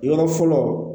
Yɔrɔ fɔlɔ